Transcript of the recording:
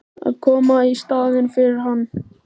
Að koma í staðinn fyrir hann?